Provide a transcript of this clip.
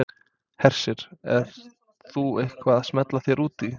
Hersir: Ert þú eitthvað að smella þér út í?